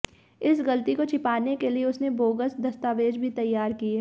इस गलती को छिपाने के लिए उसने बोगस दस्तावेज भी तैयार किये